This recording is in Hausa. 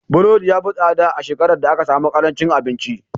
Burodi ya fi tsada a shekarar da aka sami ƙarancin abinci.